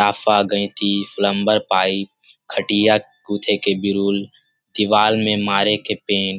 लाफा गयति plumber pipe खटिया गुथे के वीरुल दीवाल में मारे के पेंट --